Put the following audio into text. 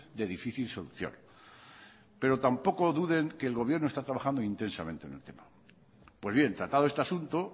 de difícil solución pero tampoco duden que el gobierno está trabajando intensamente en el tema pues bien tratado este asunto